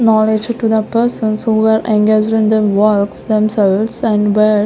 knowledge to the person's who were engaged in their works themselves and --